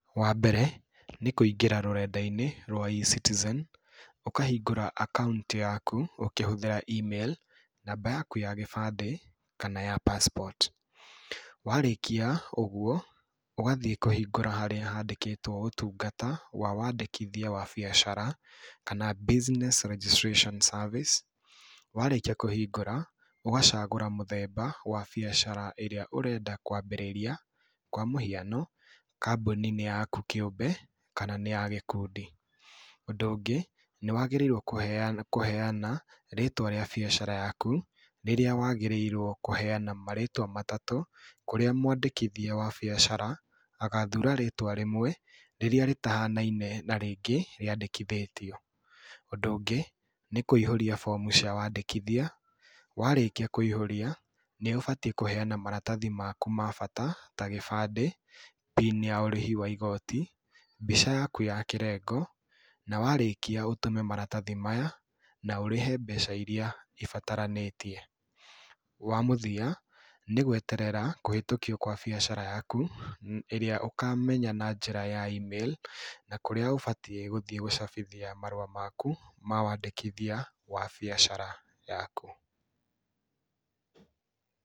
Wa mbere nĩ kũingĩra rũrenda-inĩ rwa E-Citizen. Ũkahingũra account yaku ũkĩhũthĩra email, namba yaku ya gĩbandĩ kana ya passport. Warĩkia ũguo, ũgathiĩ kũhingũra harĩa handĩkĩtwo ũtungata wa wandĩkithia wa biacara kana Business Registration Service. Warĩkia kũhingũra ũgacagũra mũthemba wa biacara ĩrĩa ũrenda kũhingũra, kwa mũhiano, kambuni nĩ yaku kĩũmbe kana nĩ ya gĩkundi. Ũndũ ũngĩ, nĩ wagĩrĩirwo kũheana rĩtwa rĩa biacara yaku, rĩrĩa wagĩrĩirwo kũheana marĩtwa matatũ, kũrĩa mwandĩkithia wa biacara agathura rĩtwa rĩmwe rĩrĩa rĩtahianaine na rĩtwa rĩrĩa rĩngĩ rĩandĩkithĩtio. Ũndũ ũngĩ nĩ kũihũria bomu cia wandĩkithia, warĩkĩa kũihũrĩa, nĩ ũbatiĩ kũheana maratathi maku ma bata ta gĩbandĩ PIN ya ũrĩhi waku wa igooti, mbica yaku ya kĩrengo na warĩkia ũtũme maratathi maya na ũrĩhe mbeca irĩa ibataranĩtie. Wa mũthia nĩ gweterera kũhĩtũkio kwa biacara yaku ĩrĩa ũkamenya na njĩra ya email. Na kũrĩa ũbatiĩ gũthiĩ gũcabithia marũa maku ma wandĩkithia wa biacara yaku.